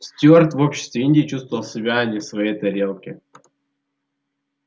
стюарт в обществе индии чувствовал себя не в своей тарелке